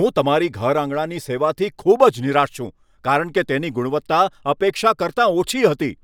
હું તમારી ઘર આંગણાની સેવાથી ખૂબ જ નિરાશ છું કારણ કે ગુણવત્તા અપેક્ષા કરતા ઓછી હતી.